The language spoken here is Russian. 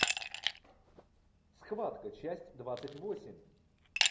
схватка часть двадцать восемь